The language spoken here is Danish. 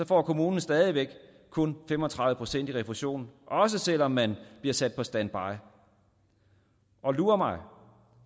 får kommunen stadig væk kun fem og tredive procent i refusion også selv om man bliver sat på standby og lur mig